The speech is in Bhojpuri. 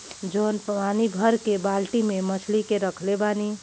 जॉन पानी भर के बाल्टी में मछली के रखले बानी।